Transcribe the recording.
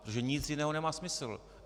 Protože nic jiného nemá smysl.